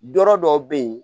Dɔ dɔw bɛ ye